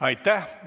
Aitäh!